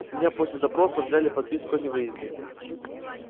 с меня после допроса взяли подписку о невыезде